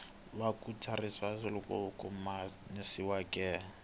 wu nga tsariwangi lowu khomanisiweke